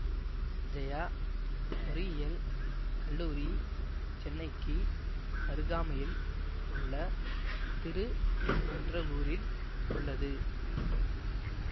ஜெயா பொறியியல் கல்லூரி சென்னைக்கு அருகாமையில் உள்ள திருநின்றவூரில் உள்ளது